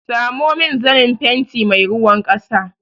Samo min zanen fenti mai ruwan ƙasa!